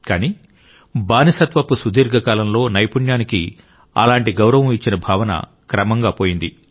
కానీ బానిసత్వపు సుదీర్ఘ కాలంలో నైపుణ్యానికి అలాంటి గౌరవం ఇచ్చిన భావన క్రమంగా పోయింది